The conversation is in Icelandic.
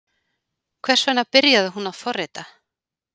Hvers vegna byrjaði hún að forrita?